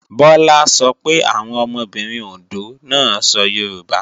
Bọlá sọ pé àwọn ọmọbìnrin Òndó náà sọ Yorùbá